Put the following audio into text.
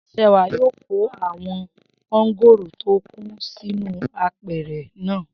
Sewà yóò kó àwọn mángòrò tó kù sínú apẹ̀rẹ̀ náà